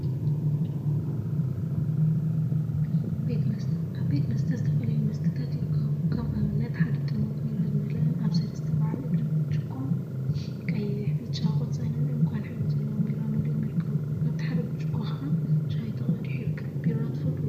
ቤት መስተ ቤት መስተ ዝተፈላለዩ መስተታት ይርከቡ፡፡ ከም አብነት ሓደ ጥርሙዝ ቢራ ዝመልአን አብ ሰለስተ በዓል እግሪ ብርጭቆን ቀይሕ፣ ብጫ፣ ቆፃልን ዕንቋን ሕብሪ ዘለዎም ቢራ መሊኦም ይርከቡ፡፡ አብቲ ሓደ ብርጭቆ ከዓ ሻሂ ተቀዲሑ ይርከብ፡፡ ቢራ ትፈትው ዶ?